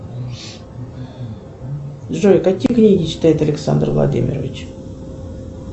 джой какие книги читает александр владимирович